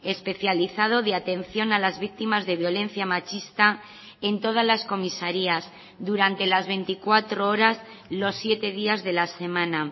especializado de atención a las víctimas de violencia machista en todas las comisarías durante las veinticuatro horas los siete días de la semana